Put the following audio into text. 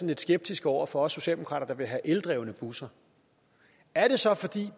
lidt skeptiske over for os socialdemokrater der vil have eldrevne busser er